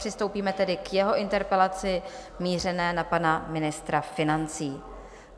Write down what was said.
Přistoupíme tedy k jeho interpelaci mířené na pana ministra financí.